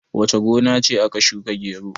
wace gona ce aka shuka gero?